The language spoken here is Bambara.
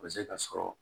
A bɛ se ka sɔrɔ